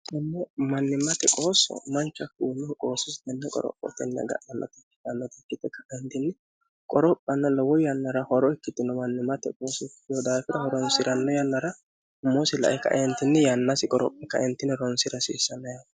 tene mannimate qooso manchu haku tene qossosi qorrophoteni agadhannota ikkitina qoorrophanna lowo yanna horo ikkitanota mannimate ikkitino dafira hooronsiranno yaanara umoosi la'e ka'e yaanasi qorrophe ka'e hooronsra hassisano.